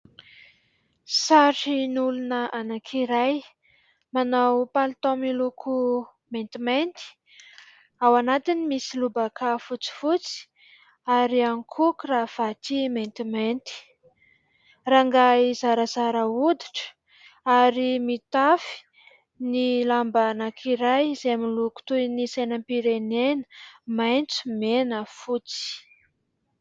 Sarin'olona anankiray manao palitao miloko maintimainty, ao anatiny misy lobaka fotsifotsy ary ihany koa " cravate " maintimainty. Rangahy zarazara hoditra ary mitafy ny lamba anankiray izay miloko toy ny sainam-pirenena : maitso, mena, fotsy.